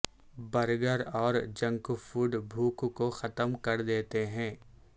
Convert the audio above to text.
burger اور junk food بھوک کو ختم کرد یتے ہیں